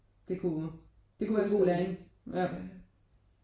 Det kunne det kunne være en god læring ja